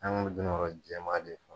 An ka dun dun kɔrɔ jɛmaa de fa.